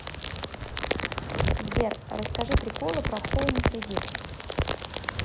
сбер расскажи приколы про хоум кредит